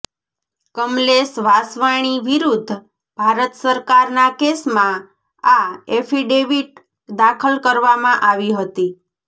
કમલેશ વાસવાણી વિરુદ્ધ ભારત સરકારના કેસમાં આ એફિડેવિટ દાખલ કરવામાં આવી હતી